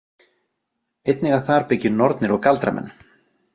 Einnig að þar byggju nornir og galdramenn.